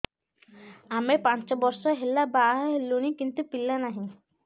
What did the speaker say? ଆମେ ପାଞ୍ଚ ବର୍ଷ ହେଲା ବାହା ହେଲୁଣି କିନ୍ତୁ ପିଲା ନାହିଁ